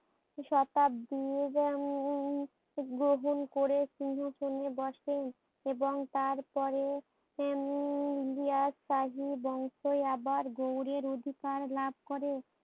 শতাব্দীর উম উম গ্রহণ করে সিংহাসনে বসেন, এবং তার পরে উম ইলিয়াস শাহী বংশে আবার গৌড়ের অধিকার লাভ করে।